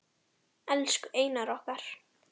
Elsku Einar okkar.